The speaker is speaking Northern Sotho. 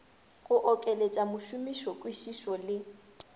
go okeletša mošomiši kwišišo le